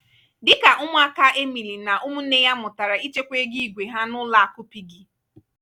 dịka ụmụaka emily na ụmụnne ya mụtara ịchekwa ego igwēha n'ụlọ akụ piggy.